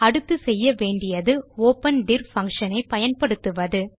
அடுத்து செய்ய வேண்டியது ஒப்பன் டிர் பங்ஷன் ஐ பயன்படுத்துவது